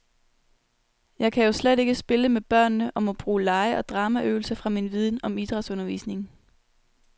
Jeg kan jo slet ikke spille med børnene og må bruge lege og dramaøvelser fra min viden om idrætsundervisning.